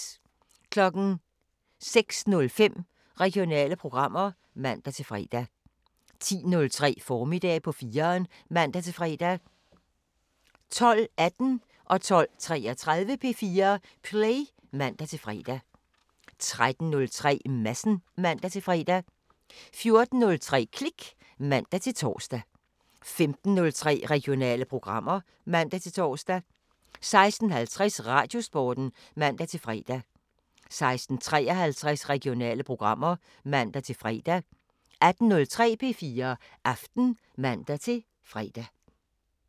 06:05: Regionale programmer (man-fre) 10:03: Formiddag på 4'eren (man-fre) 12:18: P4 Play (man-fre) 12:33: P4 Play (man-fre) 13:03: Madsen (man-fre) 14:03: Klik (man-tor) 15:03: Regionale programmer (man-tor) 16:50: Radiosporten (man-fre) 16:53: Regionale programmer (man-fre) 18:03: P4 Aften (man-fre)